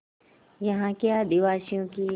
यहाँ के आदिवासियों की